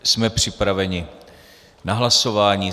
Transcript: Jsme připraveni k hlasování.